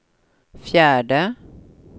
fjärde